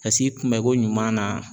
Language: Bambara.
Ka s'i kunbɛ ko ɲuman na.